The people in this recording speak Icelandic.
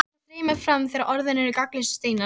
Tárin streyma fram þegar orðin eru gagnslausir steinar.